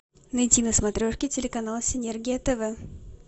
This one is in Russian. найти на смотрешке телеканал синергия тв